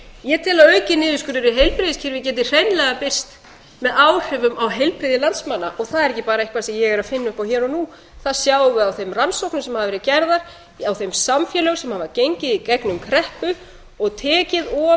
ég tel að aukinn niðurskurður í heilbrigðiskerfi geti hreinlega birst með áhrifum á heilbrigði landsmanna og það er ekki bara eitthvað sem ég er að finna upp hér og nú það sjáum við á þeim rannsóknum sem hafa verið gerðar á þeim samfélögum sem hafa gengið í gegnum kreppu og tekið of stóra